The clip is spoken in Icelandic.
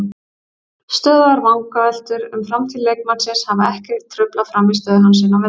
Stöðugar vangaveltur um framtíð leikmannsins hafa ekki truflað frammistöðu hans inni á vellinum.